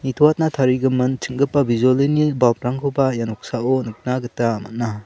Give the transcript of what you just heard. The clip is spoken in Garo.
nitoatna tarigimin ching·gipa bijolini balp rangkoba ia noksao nikna gita man·a.